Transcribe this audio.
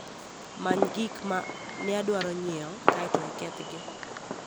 many gik ma ne adwaro nyiewo kae to ikethgi